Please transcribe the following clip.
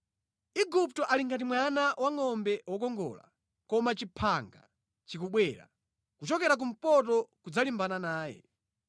“Igupto ali ngati mwana wangʼombe wokongola, koma chimphanga chikubwera kuchokera kumpoto kudzalimbana naye.